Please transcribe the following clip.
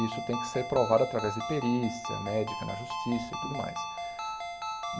Isso tem que ser provado através de perícia, médica, na justiça e tudo mais.